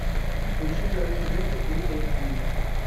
включи дары смерти фул эйч ди